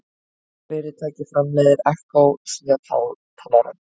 Hvaða fyrirtæki framleiðir Echo snjallhátalarann?